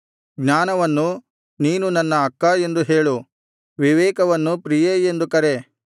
ಜ್ಞಾನವನ್ನು ನೀನು ನನ್ನ ಅಕ್ಕಾ ಎಂದು ಹೇಳು ವಿವೇಕವನ್ನು ಪ್ರಿಯೇ ಎಂದು ಕರೆ